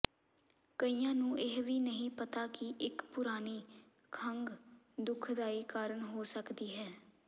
ਕਈਆਂ ਨੂੰ ਇਹ ਵੀ ਨਹੀਂ ਪਤਾ ਕਿ ਇਕ ਪੁਰਾਣੀ ਖੰਘ ਦੁਖਦਾਈ ਕਾਰਨ ਹੋ ਸਕਦੀ ਹੈ